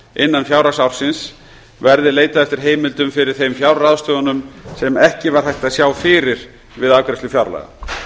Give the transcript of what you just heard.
innan fjárhagsársins verði leitað eftir heimildum fyrir þeim fjárráðstöfunum sem ekki var hægt að sjá fyrir við afgreiðslu fjárlaga